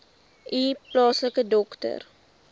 u plaaslike dokter